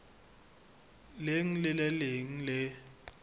leng le le leng le